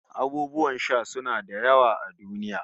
Abubuwan sha suna da yawa a duniya